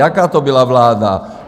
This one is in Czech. Jaká to byla vláda?